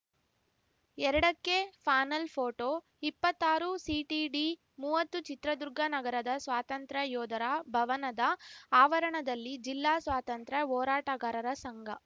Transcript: ಎರಡಕ್ಕೆಪಾನಲ್‌ photo ಇಪ್ಪತ್ತಾರುಸಿಟಿಡಿಮುವತ್ತು ಚಿತ್ರದುರ್ಗ ನಗರದ ಸ್ವಾತಂತ್ರ್ಯ ಯೋಧರ ಭವನದ ಆವರಣದಲ್ಲಿ ಜಿಲ್ಲಾ ಸ್ವಾತಂತ್ರ್ಯ ಹೋರಾಟಗಾರರ ಸಂಘ